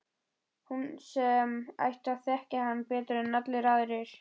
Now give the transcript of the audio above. Hún sem ætti að þekkja hann betur en allir aðrir.